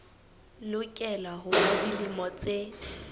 lokela ho ba dilemo tse